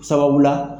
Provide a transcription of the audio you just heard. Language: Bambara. Sababu la